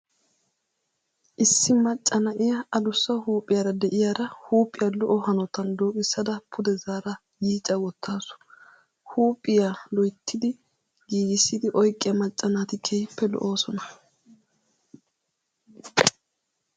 Issi macca na'iyaa adussaa huuphiyaara de'iyaara huuphiyaa lo"o hanotan dooqissada pude zaara yiica wottaasu. Huuphiya loyrtidi giigissi oyqqiyaa macca naati keehiippe lo"oosona.